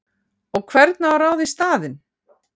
Og hvern á að ráða í staðinn?!